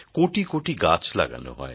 কোটি কোটি গাছ লাগানো হয়